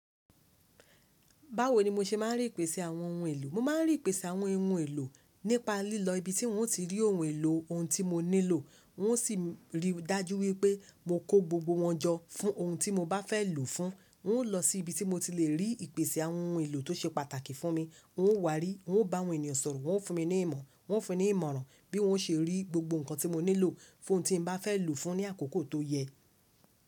Báwo ni mo ṣe máa ń rí ìpèsè àwọn ohun èlò? Mo máa ń rí ìpèsè àwọn ohun èlò nípa lílọ ibi tí n ó ti rí ohun èlò ohun tí mo nílò. N ó sì ri dájú wípé mo kó gbogbo wọn jọ fún ohun tí mo bá fẹ́ lòó fún. N ó lọ sí ibi tí mo ti lè rí ìpèsè àwọn ohun èlò tó ṣe pàtàkì fún mi. N ó wa rí, n ó bá àwọn ènìyàn sọ̀rọ̀, wọn ó fún mi ní ìmọ̀, wọn ó fún mi ní ìmọ̀ràn bí n ó ṣe rí gbogbo ǹkan tí mo nílò fún ohun tí mo bá fẹ́ lòó fún ní àkókò tó yẹ.